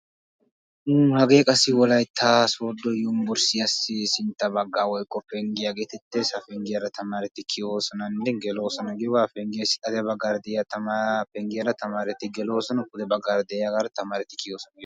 Wolaytta soodo yunbbursttiya penggiya. Ha penggiyara tamaretti gelosonanne kiyossonna.